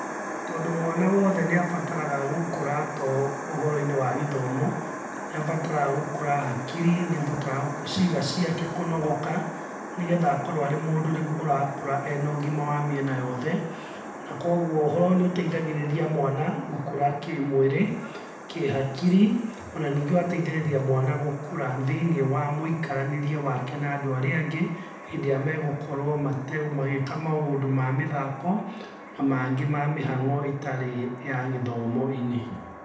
Tondũ mwana wothe niambataraga gũkũra to ũhoro-inĩ wa githomo nĩabataraga gũkũra hakiri nĩabataraga ciĩga ciake kũnogoka, nĩgetha akorwo arĩ mũndũ rĩũ ũrakũra ena ũgima wa mĩena yothe, na kogwo ũhoro ũyũ nĩũteithagĩrĩria mwana gũkũra kĩmwĩrĩ, kĩhakirĩ ona ningĩ ũgateithĩrĩria mwana gũkũra thĩiniĩ wa mũikaranĩrie wake na andũ arĩa angĩ, hĩndĩ ĩrĩa megũkorwo mate magĩka maũndũ ma mĩthako na mangĩ ma mĩhang'o ĩtarĩ ya gĩthomo-inĩ.